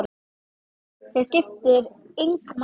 Það skiptir engu máli!